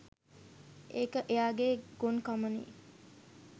ඒක එයාගේ ගොන්කමනේ